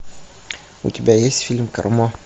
у тебя есть фильм кармо